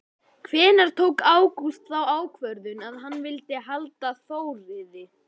Hvenær tók Ágúst þá ákvörðun að hann vildi halda Þórði?